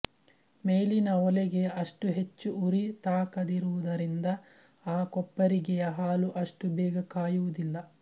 ಮೇಲಿನ ಒಲೆಗೆ ಅಷ್ಟು ಹೆಚ್ಚು ಉರಿ ತಾಕದಿರುವುದರಿಂದ ಆ ಕೊಪ್ಪರಿಗೆಯ ಹಾಲು ಅಷ್ಟು ಬೇಗ ಕಾಯುವುದಿಲ್ಲ